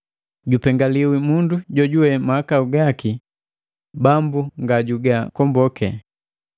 Jupengaliwi mundu jojuwe mahakau gaki Bambu nga juga komboke.”